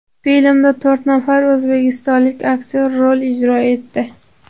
Filmda to‘rt nafar o‘zbekistonlik aktyor rol ijro etdi.